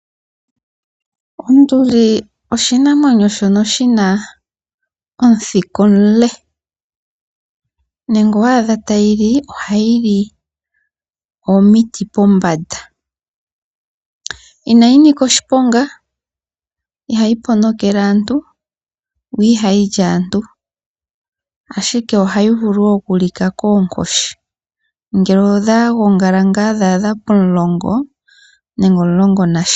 Onduli oshinamwenyo shono shina omuthika omule. Ngele owa adha ta yi li, oha yi li omiti pombanda, ina yinika oshiponga, iha yi po no kele aantu, iha yi li aantu, ashike oha yi vulu oku lika koonkoshi ngele odhagongala ngaa dha adha pomulongo, nene omulongo nasha.